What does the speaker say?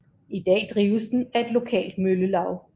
I dag drives den af et lokalt møllelaug